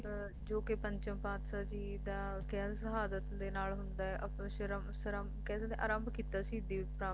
ਜੋ ਕਿ ਪੰਚਮ ਪਾਤਸ਼ਾਹ ਜੀ ਦਾ ਕਹਿਣ ਸ਼ਹਾਦਤ ਦੇ ਨਾਲ ਹੁੰਦਾ ਅਪਸਰਮ`ਸਰਮ`ਆਰੰਭ ਕੀਤਾ ਸੀ ਦਿਵਯ ਪ੍ਰੰਪਰਾ